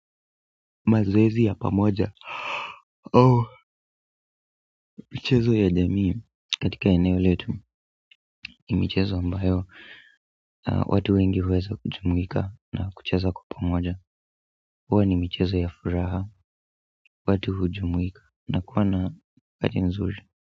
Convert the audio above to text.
Mazoezi ya pamoja michezo ya jamii katika eneo letu ni michezo ambayo watu wengi huweza kujumuika na kucheza kwa pamoja huwa ni mchezo ya furaha watu hujumuika na kuwa na wakati mzuri.